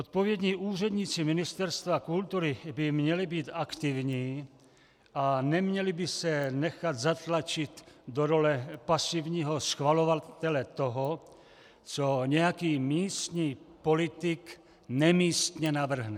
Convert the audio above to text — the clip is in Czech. Odpovědní úředníci Ministerstva kultury by měli být aktivní a neměli by se nechat zatlačit do role pasivního schvalovatele toho, co nějaký místní politik nemístně navrhne.